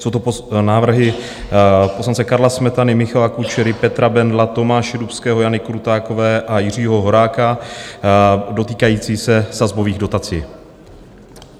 Jsou to návrhy poslance Karla Smetany, Michala Kučery, Petra Bendla, Tomáše Dubského, Jany Krutákové a Jiřího Horáka dotýkající se sazbových dotací.